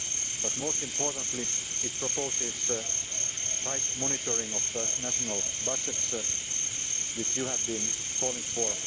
budgets. But, most importantly, it proposes tight monitoring of national budgets, which you have been calling